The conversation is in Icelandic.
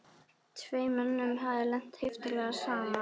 Tveim mönnum hafði lent heiftarlega saman.